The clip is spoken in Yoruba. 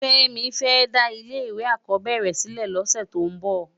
Femi fè dá ile èkò ákòbèéré silè lòsè tó n bò